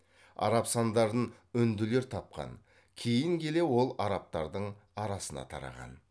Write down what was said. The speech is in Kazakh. араб сандарын үнділер тапқан кейін келе ол арабтардың арасына тараған